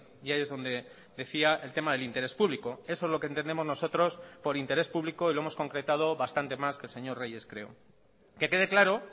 y ahí es donde decía el tema del interés público eso es lo que entendemos nosotros por interés público y lo hemos concretado bastante más que el señor reyes creo que quede claro